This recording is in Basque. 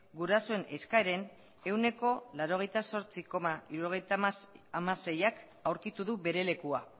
gurasoen eskaeren ehuneko laurogeita zortzi koma hirurogeita hamaseiak aurkitu du bere lekua